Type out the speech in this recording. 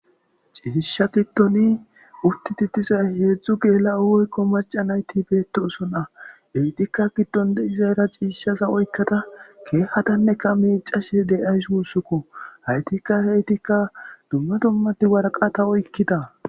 ciishsha giddoni utti titizay heedzdzu geela7o oykko marcanayti beettosona heytikka giddonde izaera ciishshaza oykkata keehatanneka miicashe de7ay sussukko haytikka heytikka dumma dummati warqata oykkida